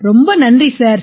ரொம்ப நன்றி சார்